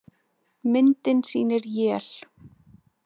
Myndin sýnir él.